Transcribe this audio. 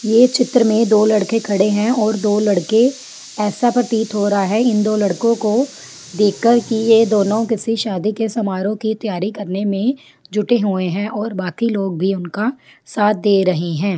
ये चित्र में दो लड़के खड़े हैं और दो लड़के ऐसा प्रतीत हो रहा है इन दो लड़कों को देख कर की यह दोनों किसी शादी के समारोह की तैयारी करने मे जुटे हुए है और बाकी लोग भी उनका साथ दे रहे हैं।